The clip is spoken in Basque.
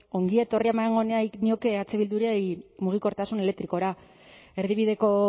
ongietorria eman nahi nioke eh bilduri mugikortasun elektrikora erdibideko